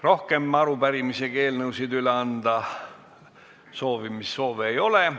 Rohkem soovi arupärimisi ja eelnõusid üle anda ei ole.